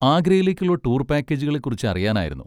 ആഗ്രയിലേക്കുള്ള tour പാക്കേജുകളെ കുറിച്ച് അറിയാനായിരുന്നു.